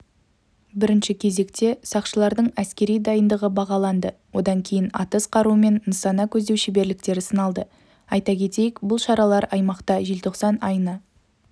бірінші кезекте сақшылардың әскери дайындығы бағаланды одан кейін атыс қаруымен нысана көздеу шеберліктері сыналды айта кетейік бұл шаралар аймақта желтоқсан айына